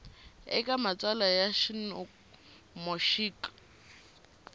eka matsalwa ya nomo xik